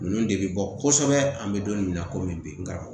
Ninnu de bɛ bɔ kosɛbɛ an bɛ don min na komi bi nka